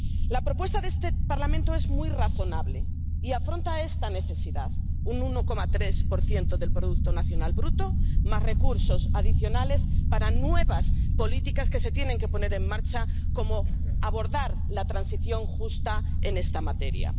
La propuesta de este Parlamento es muy razonable y afronta esta necesidad un 1,3 del producto nacional bruto, más recursos adicionales para nuevas políticas que se tienen que poner en marcha, como abordar la transición justa en esta materia.